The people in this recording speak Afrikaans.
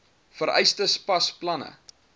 vereistes pas planne